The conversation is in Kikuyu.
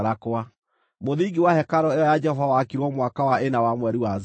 Mũthingi wa hekarũ ĩyo ya Jehova wakirwo mwaka wa ĩna wa mweri wa Zivu.